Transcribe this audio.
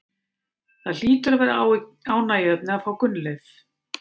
Það hlýtur að vera ánægjuefni að fá Gunnleif?